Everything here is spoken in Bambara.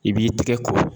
I b'i tɛgɛ ko